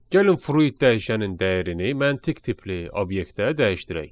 Gəlin fruit dəyişənin dəyərini məntiq tipli obyektə dəyişdirək.